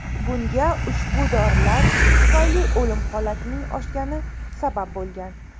Bunga ushbu dorilar tufayli o‘lim holatining oshgani sabab bo‘lgan.